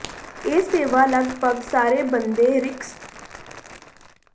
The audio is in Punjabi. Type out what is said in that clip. ਇਹ ਸੇਵਾ ਲਗਭਗ ਸਾਰੇ ਬੰਦ ਰਿੰਕਸ ਕ੍ਰੈਸ੍ਨਾਯਾਰ ਪ੍ਰਦਾਨ ਕਰਦਾ ਹੈ